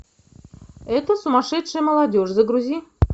эта сумасшедшая молодежь загрузи